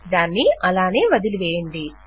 దాన్ని అలాగే వదలివేయండి